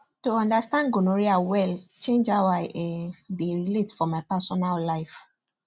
to understand gonorrhea well change how i um dey relate for my personal life